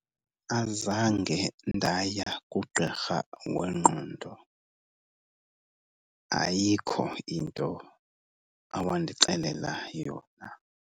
Azange ndaya kugqirha wengqondo. Ayikho into awandixelela yona.